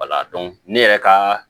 ne yɛrɛ ka